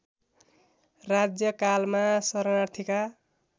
राज्यकालमा शरणार्थीका